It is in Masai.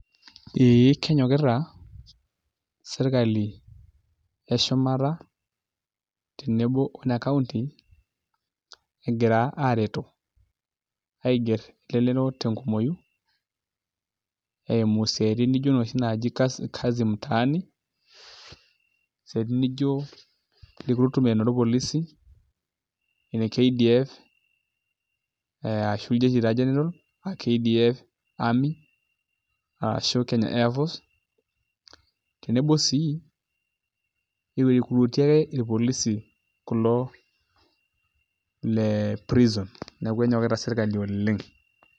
Ee kenyokita sirkali eshumata tenebo o ene kaunti egira aigerr elelero tenkumooi eimu isiaitin nijio kazi mtaani eisiatin nijio recruitment orpolisi ene KDF ashu iljeshi taa general aa KDF Army ashu Kenya Airforce tenebo sii ashu iricruiti ake irpolisi kulo le prison neeku enyokita sirkali oleng'.